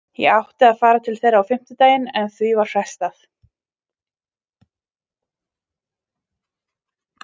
Ég átti að fara til þeirra á fimmtudaginn en því var frestað.